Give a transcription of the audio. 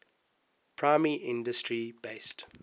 primary industry based